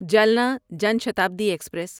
Jalna Jan Shatabdi express